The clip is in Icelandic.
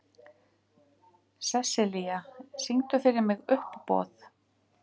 Sessilía, syngdu fyrir mig „Uppboð“.